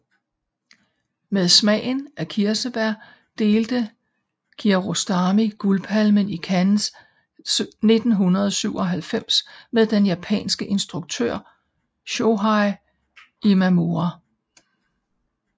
Med Smagen af kirsebær delte Kiarostami Guldpalmen i Cannes 1997 med den japanske instruktør Shōhei Imamura